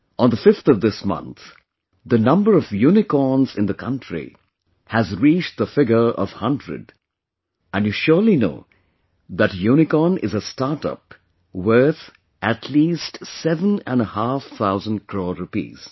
On the 5th of this month, the number of unicorns in the country has reached the figure of 100 and you surely know that a unicorn is a startup worth at least seven and a half thousand crore rupees